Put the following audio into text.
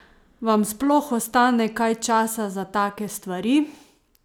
Vam sploh ostane kaj časa za take stvari?